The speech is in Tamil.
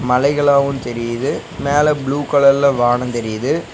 மலைகளாவு தெரியிது மேல ப்ளூ கலர்ல வானோ தெரியிது.